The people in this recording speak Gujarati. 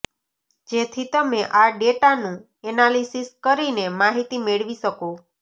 જેથી તમે આ ડેટાનું એનાલિસિસ કરીને માહિતી મેળવી શકો